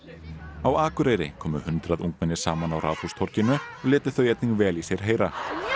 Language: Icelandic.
á Akureyri komu hundrað ungmenni saman á Ráðhústorginu og létu þau einnig vel í sér heyra